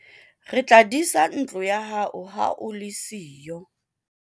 re tla disa ntlo ya hao ha o le siyo